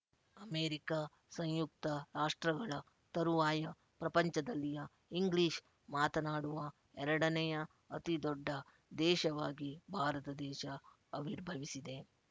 America ಸಂಯುಕ್ತ ರಾಷ್ಟ್ರಗಳ ತರುವಾಯ ಪ್ರಪಂಚದಲ್ಲಿಯ ಇಂಗ್ಲಿಶ್ ಮಾತನಾಡುವ ಎರಡನೆಯ ಅತಿ ದೊಡ್ಡ ದೇಶವಾಗಿ ಭಾರತ ದೇಶ ಅವಿರ್ಭವಿಸಿದೆ